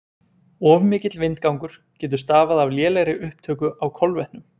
of mikill vindgangur getur stafað af lélegri upptöku á kolvetnum